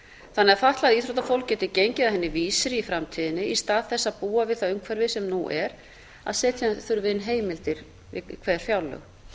þannig að fatlað íþróttafólk geti gengið að henni vísri í framtíðinni í stað þess að búa við það umhverfi sem nú er að setja þurfi inn heimildir við hver fjárlög